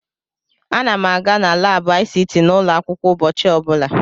Ana m aga na laabụ ICT n'ụlọ akwụkwọ ụbọchị ọbụla.